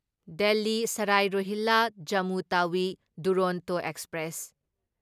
Delhi Sarai Rohilla Jammu Tawi Duronto express